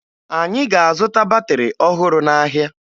Anyị ga-azụta batịrị ọhụrụ n'ahịa